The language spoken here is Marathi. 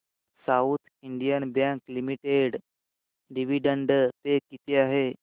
south Indian Bank Limited dividend pay किती आहे